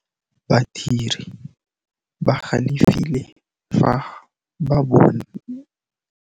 Badiri ba galefile fa ba lemoga phokotsô ya tšhelête ya bone.